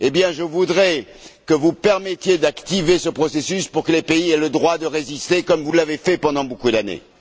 Je voudrais que vous permettiez d'activer ce processus pour que les pays aient le droit de résister, comme vous l'avez fait pendant beaucoup d'années.